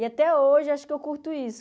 E até hoje acho que eu curto isso.